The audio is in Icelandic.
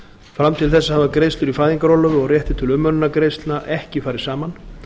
fram til þess hafa greiðslur í fæðingarorlofi og réttur til umönnunargreiðslna ekki farið saman